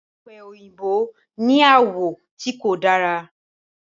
ope oyinbo ní àwọ̀ tí kò dára.